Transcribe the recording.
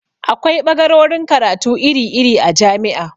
Akwai ɓagarorin karatu iri iri a jami'a